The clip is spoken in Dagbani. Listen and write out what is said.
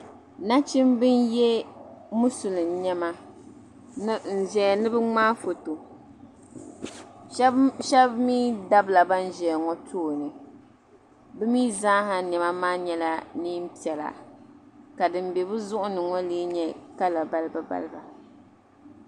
Na chimba n ye musulim nema, n ʒɛya ni bɛ mŋaa fɔtɔ, shabi mi dabila, ban ʒiyaŋɔ tooni, bɛ mi zaaha nema nyala nee n piɛla ka di n be bɛzuɣuniŋɔ, lee nyɛ kala. balibu balibu.